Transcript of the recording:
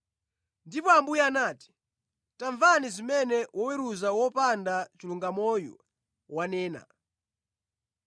Ndipo Ambuye anati, “Tamvani zimene woweruza wopanda chilungamoyu wanena.